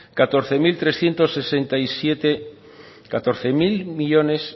catorce mil trescientos sesenta y siete millónes